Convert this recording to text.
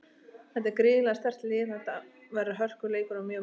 Þetta er gríðarlega sterkt lið og þetta verður hörkuleikur og mjög mikilvægur.